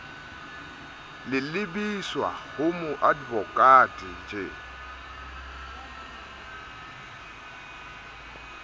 le lebiswa ho moadvokate j